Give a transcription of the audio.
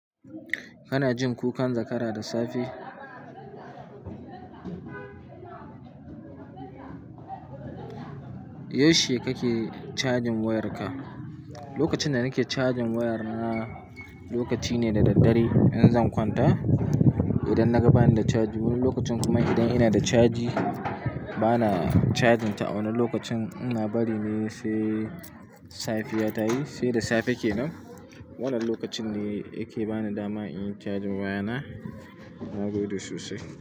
Kana jin kukan zakara da safe? Yaushe kake cajin wayarka? Lokacin da nake cajin wayar na lokaci ne da daddare in zan kwanta. Idan na ga bani da caji wani lokacin kuma idan ina da caji bana carjinta a wannan lokacin ina barine sai safiya tayi sai da safe kenan. Wannan lokacin ne yake bani dama in yi cajin waya na. Na gode sosai.